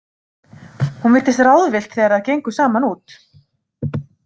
Hún virtist ráðvillt þegar þær gengu saman út.